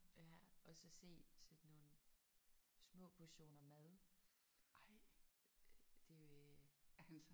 Ja og så se sådan nogle små portioner mad. Det er jo øh